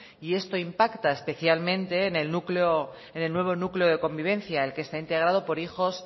y esto impacta especialmente en el nuevo núcleo de convivencia el que está integrado por hijos